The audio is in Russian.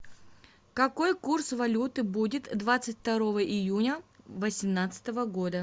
какой курс валюты будет двадцать второго июня восемнадцатого года